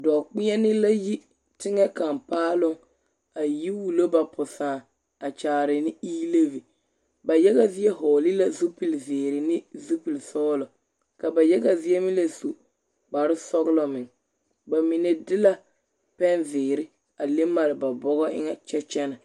Dͻͻkpeԑne la yi teŋԑ kaŋa paaloŋ, a yi wulo ba posãã a kyaare ne ii-levi. Ba yage zie vͻgele la zupili zeere ne zupili sͻgelͻ ka ba yaga zie meŋ la su la kpare sͻgelͻ meŋ. Ba mine de la pԑnzeere a le mare ba bͻgͻ eŋԑ kyԑ kyԑnԑ.